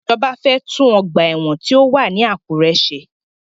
Ìjọba fẹ́ tún ọgbà ẹ̀wọ̀n tí ó wà ní Àkúré ṣe.